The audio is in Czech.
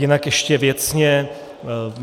Jinak ještě věcně.